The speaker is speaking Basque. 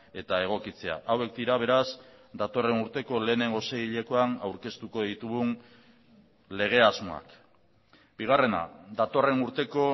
eta egokitzea hauek dira beraz datorren urteko lehenengo seihilekoan aurkeztuko ditugun lege asmoak bigarrena datorren urteko